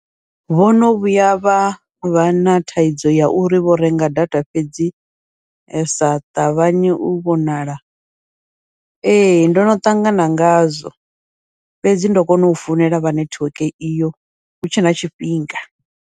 Vhono vhuya vha vha na thaidzo ya uri vho renga data fhedzi ya sa ṱavhanye u vhonala, ee ndono ṱangana ngazwo, fhedzi ndo kona u founela vha nethiweke iyo hutshe na tshifhinga.